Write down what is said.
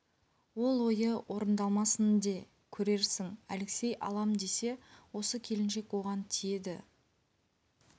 ол ойы орындалмасын де көрерсің алексей алам десе осы келіншек оған тиеді